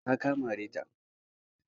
Ka tabbata ka mare ta!